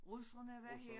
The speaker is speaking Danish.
Russerne var her